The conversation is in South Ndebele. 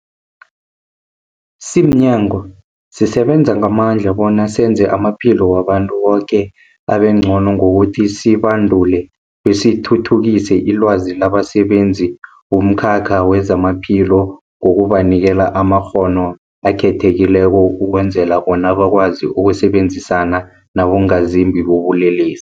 Simnyango, sisebenza ngamandla bona senze amaphilo wabantu boke abengcono ngokuthi sibandule besithuthukise ilwazi labasebenzi bomkhakha wezamaphilo ngokubanikela amakghono akhethekileko ukwenzela bona bakwazi ukusebenzisana nabongazimbi bobulelesi.